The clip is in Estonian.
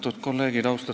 Austatud kolleegid!